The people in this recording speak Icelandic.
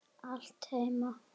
Allt heima.